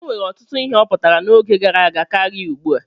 O nwere ọtụtụ ihe ọ pụtara n'oge gara aga karịa ugbu a.